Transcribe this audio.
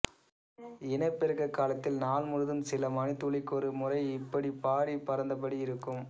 இனப்பெருக்க காலத்தில் நாள் முழுதும் சில மணித்துளிக்கொரு முறை இப்படிப் பாடிப் பறந்தபடி இருக்கும்